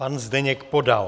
Pan Zdeněk Podal.